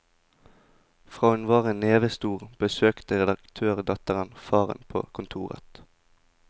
Fra hun var en neve stor, besøkte redaktørdatteren faren på kontoret.